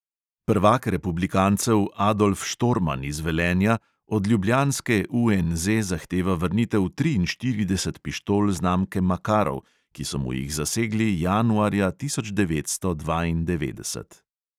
Prvak republikancev adolf štorman iz velenja od ljubljanske UNZ zahteva vrnitev triinštirideset pištol znamke makarov, ki so mu jih zasegli januarja tisoč devetsto dvaindevetdeset.